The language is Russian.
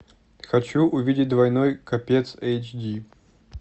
хочу увидеть двойной капец эйч ди